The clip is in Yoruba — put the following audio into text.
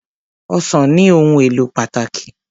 Ọsàn ní ohùn èlò pàtàkì.